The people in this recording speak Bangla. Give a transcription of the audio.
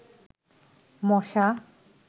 মশা